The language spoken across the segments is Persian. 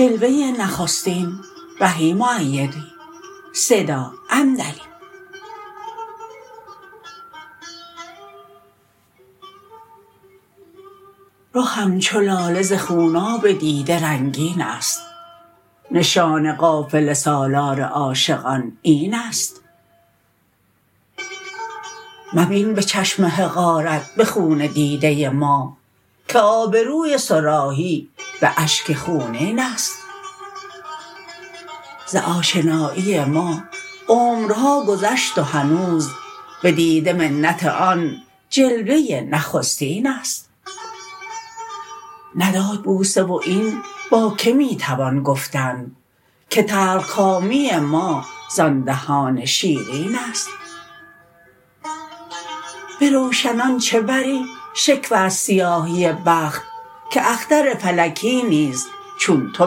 رخم چو لاله ز خوناب دیده رنگین است نشان قافله سالار عاشقان این است مبین به چشم حقارت به خون دیده ما که آبروی صراحی به اشک خونین است ز آشنایی ما عمرها گذشت و هنوز به دیده منت آن جلوه نخستین است نداد بوسه و این با که می توان گفتن که تلخ کامی ما زان دهان شیرین است به روشنان چه بری شکوه از سیاهی بخت که اختر فلکی نیز چون تو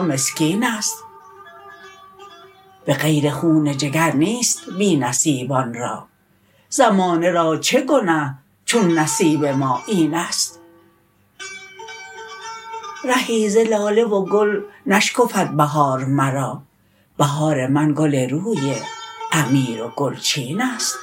مسکین است به غیر خون جگر نیست بی نصیبان را زمانه را چه گنه چون نصیب ما این است رهی ز لاله و گل نشکفد بهار مرا بهار من گل روی امیر و گلچین است